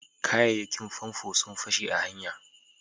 kayayyakin famfo sun fashe a hanya